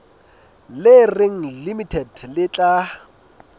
le reng limited le tla